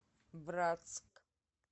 братск